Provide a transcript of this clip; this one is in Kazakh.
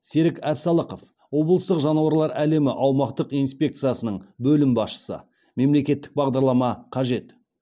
серік әпсалықов облыстық жануарлар әлемі аумақтық инспекциясының бөлім басшысы мемлекеттік бағдарлама қажет